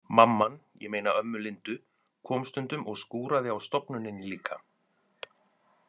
Mamman, ég meina ömmu Lindu, kom stundum og skúraði á stofnuninni líka.